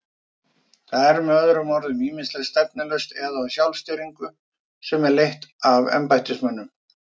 Það er með öðrum orðum ýmist stefnulaust eða á sjálfstýringu sem er leidd af embættismönnum.